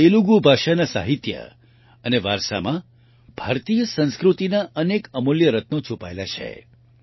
તેલુગુ ભાષાના સાહિત્ય અને વારસામાં ભારતીય સંસ્કૃતિના અનેક અમૂલ્ય રત્નો છુપાયેલા છે